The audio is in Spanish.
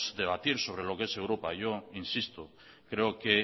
debatir sobre lo que es europa yo insisto creo que